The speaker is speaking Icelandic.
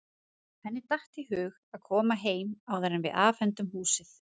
Henni datt í hug að koma heim áður en við afhendum húsið.